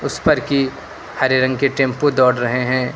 उस पर कि हरे रंग के टेंपो दौड़ रहे हैं।